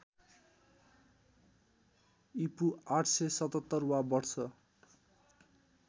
ईपू ८७७ वा वर्ष